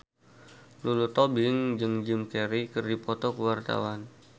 Lulu Tobing jeung Jim Carey keur dipoto ku wartawan